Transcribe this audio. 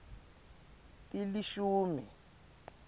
tilishumi